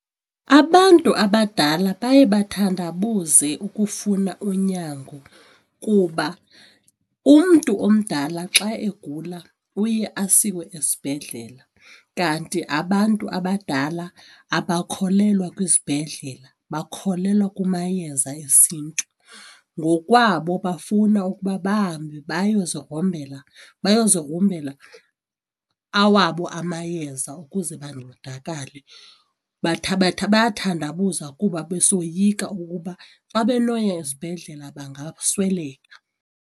Abantu abadala baye bathandabuze ukufuna unyango kuba umntu omdala xa egula uye asiwe esibhedlela kanti abantu abadala abakholelwa kwizibhedlela bakholelwa kumayeza esiNtu. Ngokwabo bafuna ukuba bahambe bayozigrombela, bayozigrumbela awabo amayeza ukuze bancedakale bayathandabuza kuba besoyika ukuba xa benoya esibhedlela bangasweleka.